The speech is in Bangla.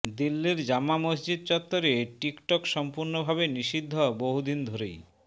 দিল্লির জামা মসজিদ চত্ত্বরে টিকটক সম্পূর্ণভাবে নিষিদ্ধ বহু দিন ধরেই